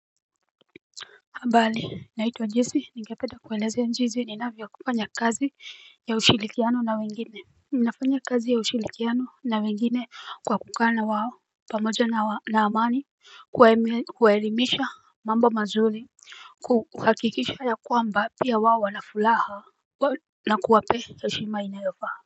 Ambali naitwa naitwa Jesi, ningependa kueleze jinsi ninavyofanya kazi ya ushirikiano na wengine. Ninafanya kazi ya ushirikiano na wengine kwa kukaa na wao pamoja na amani, kuwaelimisha mambo mazuri kuhakikisha ya kwamba, pia wao wanafuraha na kuwapea heshima inayofaa.